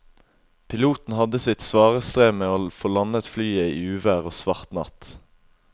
Piloten hadde sitt svare strev med å få landet flyet i uvær og svart natt.